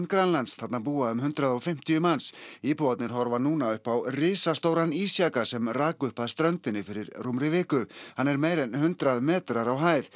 Grænlands þarna búa um hundrað og fimmtíu manns íbúar horfa núna upp á risastóran ísjaka sem rak upp að ströndinni fyrir rúmri viku hann er meira en hundrað metrar á hæð